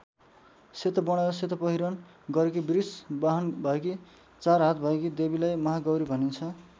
सेतो वर्ण र सेतो पहिरन गरेकी वृष वाहन भएकी चार हात भएकी देवीलाई महागौरी भनिन्छ।